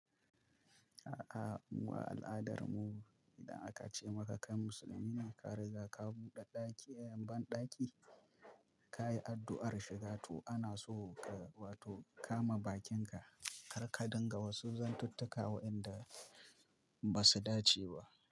A'a, mu a al'adar mu idan aka ce maka kai musulmine ka riga ka buɗe ɗaki a yan ban ɗaki, ka yi addu'ar shiga to ana so ka wato kama bakinka, kar ka dinga wasu zantattuka wa inda ba su dace ba.